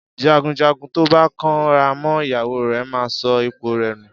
Jàgúnjàgún tọba kàn rà mọ ìyáwò rẹ mà sọ ìpó rẹ nú